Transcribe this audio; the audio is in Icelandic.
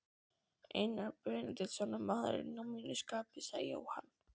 Einar Benediktsson er maður að mínu skapi, sagði Jóhann.